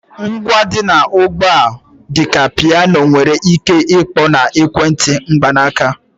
Ngwa dị ugbu a dị ka ịgbà, piano nwere ike ịkpọ na ekwentị mkpanaaka.